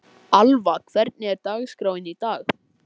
Alva, hvernig er dagskráin í dag?